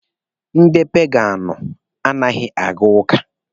Ndị paganụ anaghị aga ụka.